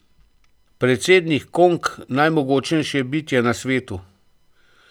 Predsednik Kong, najmogočnejše bitje na svetu.